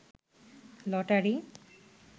lottery